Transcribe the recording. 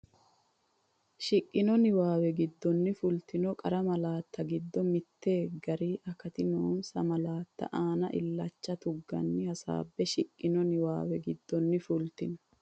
Shiqqino niwaawe giddonni fultino qara malaatta giddo mittu gari akati noonsa malaatta aana illacha tuggine hasaabbe Shiqqino niwaawe giddonni fultino.